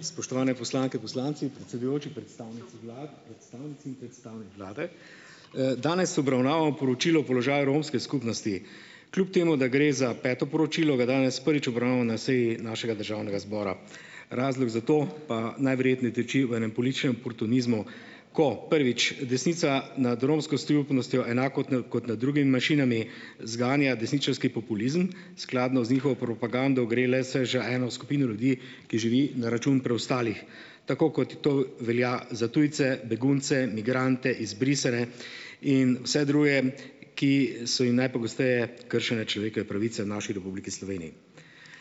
Spoštovane poslanke, poslanci, predsedujoči, predstavnici vlad, predstavnici in predstavnik vlade! Danes obravnavamo poročilo o položaju romske skupnosti. Kljub temu da gre za peto poročilo, ga danes prvič obravnavo na seji našega državnega zbora, razlog za to, pa najverjetneje tiči v enem političnem oportunizmu, ko: prvič, desnica nad romsko skupnostjo enako na kot nad drugimi manjšinami zganja desničarski populizem, skladno z njihovo propagando gre le se že eno skupino ljudi, ki živi na račun preostalih, tako kot to velja za tujce, begunce, migrante, izbrisane in vse druge, ki so jim najpogosteje kršene človekove pravice v naši Republiki Sloveniji.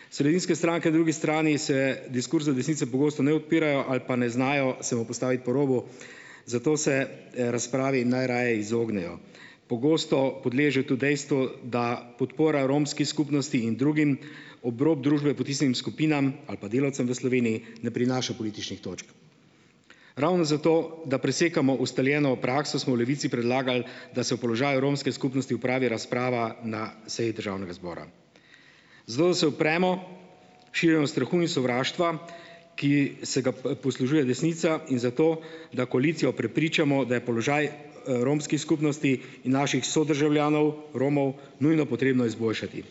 Sredinske stranke drugi strani se diskurzu desnice pogosto ne odpirajo ali pa ne znajo se mu postaviti po robu, zato se, razpravi najraje izognejo. Pogosto podležejo tu dejstvu, da podpora romski skupnosti in drugim ob rob družbe potisnjenim skupinam ali pa delavcem v Sloveniji ne prinaša političnih točk. Ravno zato, da presekamo ustaljeno prakso, smo v Levici predlagali, da se o položaju romske skupnosti opravi razprava na seji državnega zbora. Zato da se upremo širjenju strahu in sovraštva, ki se ga poslužuje desnica, in zato, da koalicijo prepričamo, da je položaj, romski skupnosti in naših sodržavljanov, Romov, nujno potrebno izboljšati.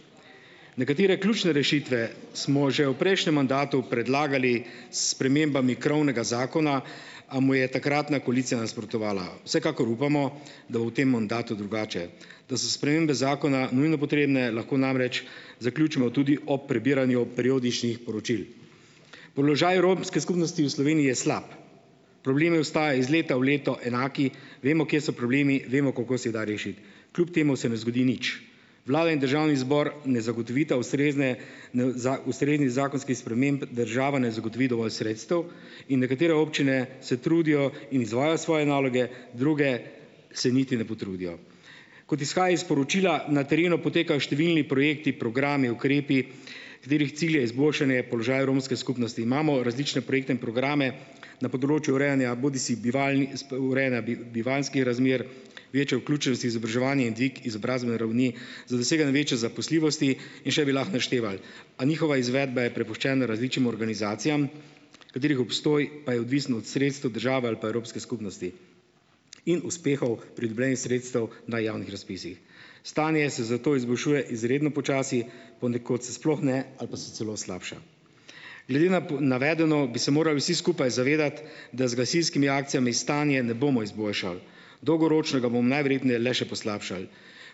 Nekatere ključne rešitve smo že v prejšnjem mandatu predlagali s spremembami krovnega zakona, a mu je takratna koalicija nasprotovala. Vsekakor upamo, da v tem mandatu drugače, da so spremembe zakona nujno potrebne, lahko namreč zaključimo tudi ob prebiranju periodičnih poročil. Položaj romske skupnosti v Sloveniji je slab. Problemi ostajajo iz leta v leto enaki, vemo, kje so problemi, vemo, koliko se jih da rešiti. Kljub temu se ne zgodi nič. Vlada in državni zbor ne zagotovita ustrezne n ustrezni zakonskih sprememb, država ne zagotovi dovolj sredstev in nekatere občine se trudijo in izvajajo svoje naloge, druge se niti ne potrudijo. Kot izhaja iz poročila, na terenu potekajo številni projekti, programi, ukrepi, katerih cilj je izboljšanje položaja romske skupnosti. Imamo različne projekte in programe na področju urejanja bodisi bivalnih urejanja bivanjskih razmer, večje vključenosti izobraževanje in dvig izobrazbene ravni za doseganje večje zaposljivosti in še bi lahko našteval, a njihova izvedba je prepuščena različnim organizacijam, katerih obstoj pa je odvisen od sredstev države ali pa evropske skupnosti in uspehov pridobljenih sredstev na javnih razpisih. Stanje se zato izboljšuje izredno počasi, ponekod se sploh ne, ali pa se celo slabša. Glede na navedeno, bi se morali vsi skupaj zavedati, da z gasilskimi akcijami stanja ne bomo izboljšali. Dolgoročno ga bom najverjetneje le še poslabšali.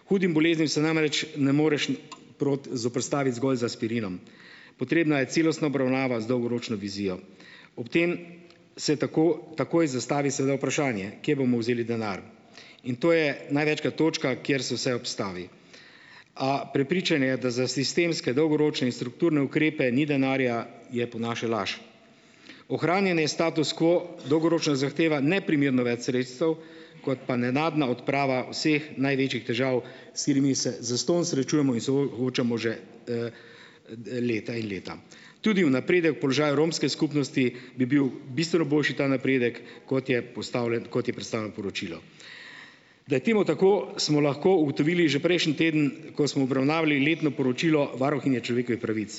Hudim boleznim se namreč ne moreš ne zoperstaviti zgolj z aspirinom. Potrebna je celostna obravnava z dolgoročno vizijo. Ob tem se tako takoj zastavi seveda vprašanje: "Kje bomo vzeli denar?" In to je največkrat točka, kjer se vse ustavi. A prepričanje, da za sistemske, dolgoročne in strukturne ukrepe ni denarja, je po naše laž. Ohranjanje statusa quo dolgoročno zahteva neprimerno več sredstev kot pa nenadna odprava vseh največjih težav, s katerimi se zastonj srečujemo in soočamo že leta in leta. Tudi u naprede položaja romske skupnosti, bi bil bistveno boljši ta napredek, kot je predstavljen poročilu. Da je temu tako, smo lahko ugotovili že prejšnji teden, ko smo obravnavali letno poročilo varuhinje človekove pravic.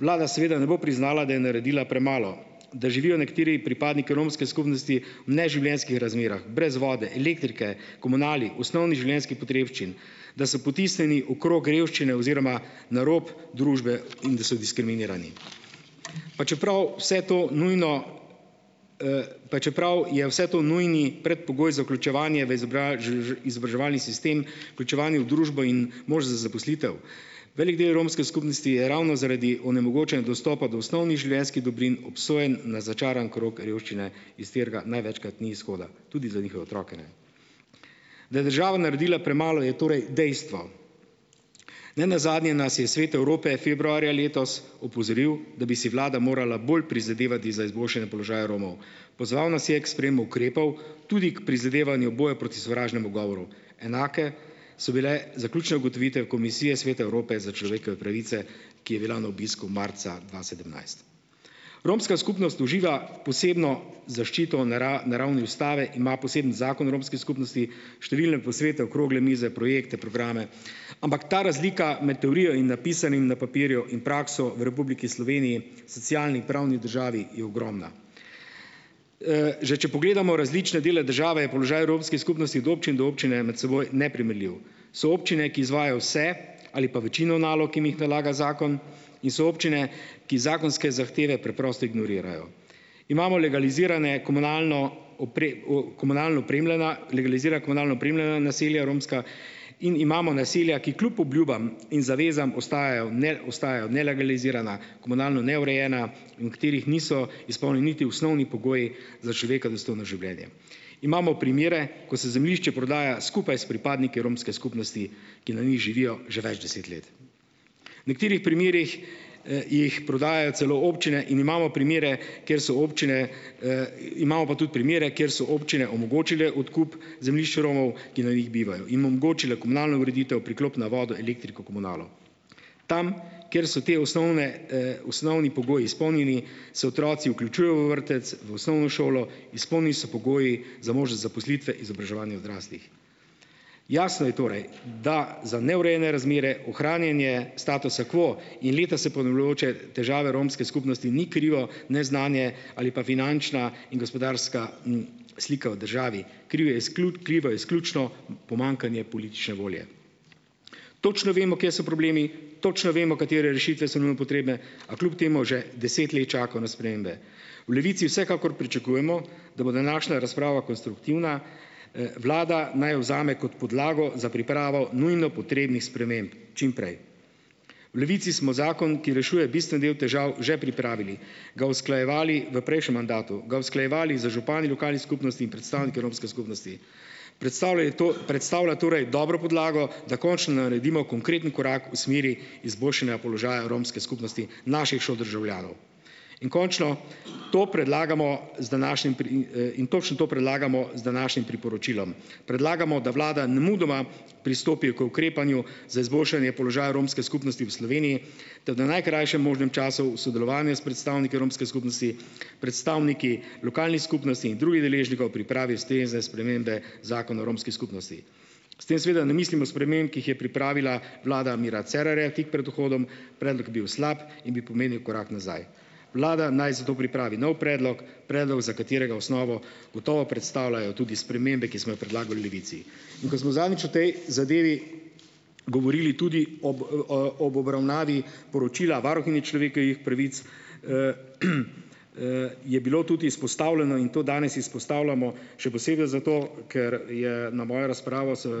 Vlada seveda ne bo priznala, da je naredila premalo, da živijo nekateri pripadniki romske skupnosti v neživljenjskih razmerah brez vode, elektrike, komunali, osnovnih življenjskih potrebščin, da so potisnjeni v krog revščine oziroma na rob družbe in da so diskriminirani, pa čeprav vse to nujno, pa čeprav je vse to nujni predpogoj za vključevanje v izobraževalni sistem, vključevanje v družbo in mož za zaposlitev. Velik del romske skupnosti je ravno zaradi onemogočenega dostopa do osnovnih življenjskih dobrin obsojen na začaran krog revščine, iz katerega največkrat ni izhoda. Tudi za njihove otroke ne. Da je država naredila premalo je torej dejstvo. Nenazadnje nas je Svet Evrope februarja letos opozoril, da bi si vlada morala bolj prizadevati za izboljšanje položaja Romov. Pozval nas je k sprejemu ukrepov, tudi k prizadevanju boja proti sovražnemu govoru, enake so bile zaključne ugotovitve Komisije Sveta Evrope za človekove pravice, ki je bila na obisku marca dva sedemnajst. Romska skupnost uživa posebno zaščito na na ravni ustave, ima poseben Zakon o romski skupnosti, številne posvete okrogle mize, projekte, programe, ampak ta razlika med teorijo in napisanim na papirju in prakso v Republiki Sloveniji, socialni pravni državi, je ogromna. Že če pogledamo različne dele države, je položaj romski skupnosti od občine do občine med seboj neprimerljiv. So občine, ki izvajajo vse ali pa večino nalog, ki jim jih nalaga zakon, in so občine, ki zakonske zahteve preprosto ignorirajo. Imamo legalizirane komunalno, o komunalno opremljena, legalizirana komunalno opremljena naselja romska in imamo naselja, ki kljub obljubam in zavezam ostajajo, ostajajo nelegalizirana, komunalno neurejena in v katerih niso izpolnjeni niti osnovni pogoji za človeka dostojno življenje. Imamo primere, ko se zemljišče prodaja skupaj s pripadniki romske skupnosti, ki na njih živijo že več deset let. V nekaterih primerih, jih prodajajo celo občine in imamo primere, kjer so občine, imamo pa tudi primere, kjer so občine omogočile odkup zemljišč Romov, ki na njih bivajo, in omogočile komunalno ureditev, priklop na vodo, elektriko, komunalo. Tam, kjer so te osnovne, osnovni pogoji izpolnjeni, se otroci vključujejo v vrtec, v osnovno šolo, izpolnjeni so pogoji za možnost zaposlitve, izobraževanja odraslih. Jasno je torej, da za neurejene razmere, ohranjanje statusa quo in leta se ponavljajoče težave romske skupnosti ni krivo neznanje ali pa finančna in gospodarska, slika v državi, krivo je krivo je izključno pomanjkanje politične volje. Točno vemo, kje so problemi, točno vemo, katere rešitve so nujno potrebne, a kljub temu že deset let čakajo na spremembe. V Levici vsekakor pričakujemo, da bo dandanašnja razprava konstruktivna, vlada naj jo vzame kot podlago za pripravo nujno potrebnih sprememb čim prej. V Levici smo zakon, ki rešuje bistveni del težav, že pripravili, ga usklajevali v prejšnjem mandatu, ga usklajevali z župani lokalnih skupnosti in predstavniki romske skupnosti. Predstavlja je predstavlja torej dobro podlago, da končno naredimo konkreten korak v smeri izboljšanja položaja romske skupnosti, naših sodržavljanov. In končno to predlagamo z današnjim In točno to predlagamo z današnjim priporočilom. Predlagamo, da vlada nemudoma pristopi k ukrepanju za izboljšanje položaja romske skupnosti v Sloveniji ter da v najkrajšem možnem času v sodelovanju s predstavniki romske skupnosti, predstavniki lokalnih skupnosti in drugih deležnikov, pripravi ustrezne spremembe Zakona o romski skupnosti. S tem seveda ne mislimo sprememb, ki jih je pripravila vlada Mira Cerarja tik pred vhodom, predlog je bil slab in bi pomenil korak nazaj. Vlada naj zato pripravi nov predlog, predlog, za katerega osnovo gotovo predstavljajo tudi spremembe, ki smo jo predlagali v Levici. In ko smo zadnjič o tej zadevi govorili tudi ob, ob obravnavi poročila varuhinje človekovih pravic, je bilo tudi izpostavljeno in to danes izpostavljamo, še posebej zato, ker je na mojo razpravo se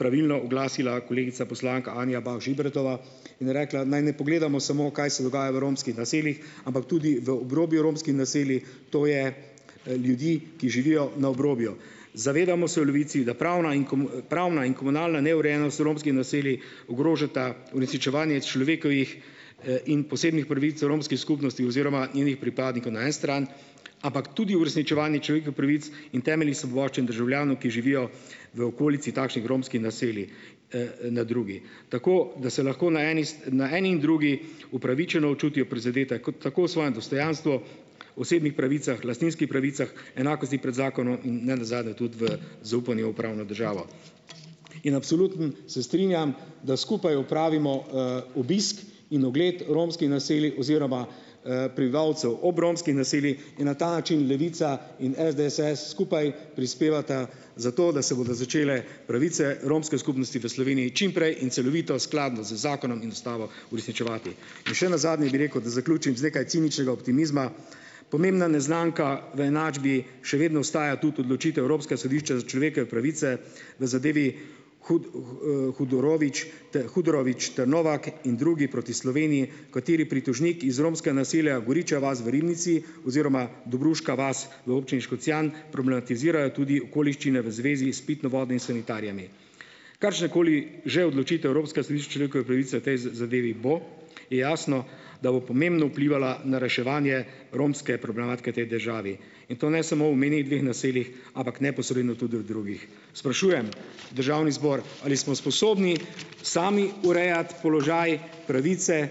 pravilno oglasila kolegica poslanka Anja Bah Žibretova in rekla, naj ne pogledamo samo, kaj se dogaja v romskih naseljih, ampak tudi v obrobju romskih naselij, to je, ljudi, ki živijo na obrobju. Zavedamo se v Levici, da pravna in pravna in komunalna neurejenost romskih naselij ogrožata uresničevanje človekovih, in posebnih pravic o romski skupnosti oziroma njenih pripadnikov na eni strani, ampak tudi uresničevanje človekovih pravic in temeljnih svoboščin državljanov, ki živijo v okolici takšnih romskih naselij, na drugi. Tako da se lahko na eni na eni in drugi upravičeno čutijo prizadeti, kot tako v svojem dostojanstvu, osebnih pravicah, lastninski pravicah, enakosti pred zakonom in ne nazadnje tudi v zaupanju v pravno državo. In absolutno se strinjam, da skupaj opravimo, obisk in ogled romskih naselij oziroma, prebivalcev ob romskih naselij in na ta način Levica in SDS skupaj prispevata za to, da se bodo začele pravice romske skupnosti v Sloveniji čim prej in celovito, skladno z zakonom in ustavo, uresničevati. In še nazadnje bi rekel, da zaključim z nekaj ciničnega optimizma, pomembna neznanka v enačbi še vedno ostaja tudi odločitev Evropskega sodišča za človekove pravice v zadevi Hudorovič ter Novak in drugi proti Sloveniji, kateri pritožnik iz romskega naselja Goriča vas v Ribnici oziroma Dobruška vas v občini Škocjan problematizirajo tudi okoliščine v zvezi s pitno vodo in sanitarijami. Kakršnakoli že odločitev Evropskega sodišča človekove pravice v tej zadevi bo, je jasno, da bo pomembno vplivala na reševanje romske problematike tej državi. In to ne samo omenjenih dveh naseljih, ampak neposredno tudi v drugih. Sprašujem državni zbor, ali smo sposobni sami urejati položaj, pravice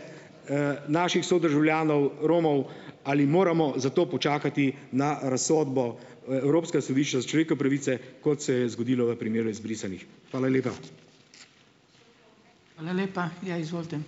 naših sodržavljanov Romov, ali moramo za to počakati na razsodbo ue Evropskega sodišča za človekove pravice, kot se je zgodilo v primeru izbrisanih? Hvala lepa.